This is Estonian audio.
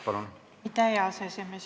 Aitäh, hea aseesimees!